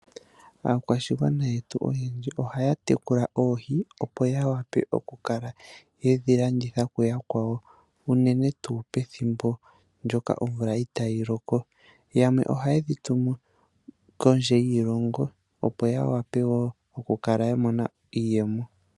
Aakwashigwana yetu oyendji ohaya tekula oohi, opo ya wape oku kala yedhi landitha kuyakwawo uune tuu pethimbo ndjoka omvula itaayi loko. Yamwe ohaye dhi tumu kondje yiilongo opo, ya wape wo oku kala ya mona iiyemo.